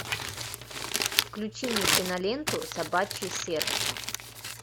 включи мне киноленту собачье сердце